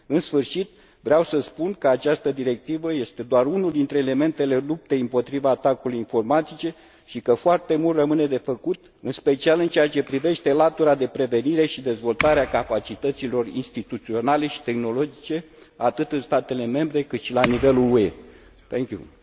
În sfârșit, vreau să spun că această directivă este doar unul dintre elementele luptei împotriva atacurilor informatice și că foarte mult rămâne de făcut, în special în ceea ce privește latura de prevenire și dezvoltare a capacităților instituționale și tehnologice, atât în statele membre, cât și la nivelul Uniunii Europene.